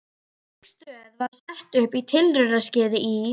Slík stöð var sett upp í tilraunaskyni í